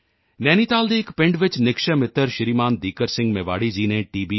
ਨੈਨੀਤਾਲ ਦੇ ਇੱਕ ਪਿੰਡ ਵਿੱਚ ਨਿਕਸ਼ੈ ਮਿੱਤਰ ਸ਼੍ਰੀਮਾਨ ਦੀਕਰ ਸਿੰਘ ਮੇਵਾੜੀ ਜੀ ਨੇ ਟੀ